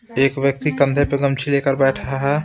एक व्यक्ति कंधे पर गमछी लेकर बैठा है ।